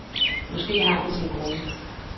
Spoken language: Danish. Måske har han sine grunde.